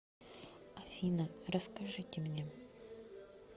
афина расскажите мне